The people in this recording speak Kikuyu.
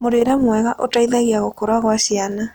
Mũrĩre mwega ũteĩthagĩa gũkũra gwa ciana